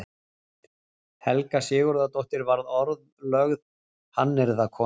Helga Sigurðardóttir varð orðlögð hannyrðakona.